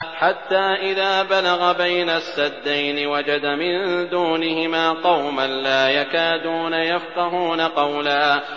حَتَّىٰ إِذَا بَلَغَ بَيْنَ السَّدَّيْنِ وَجَدَ مِن دُونِهِمَا قَوْمًا لَّا يَكَادُونَ يَفْقَهُونَ قَوْلًا